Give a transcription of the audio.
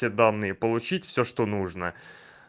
те данные получить всё что нужно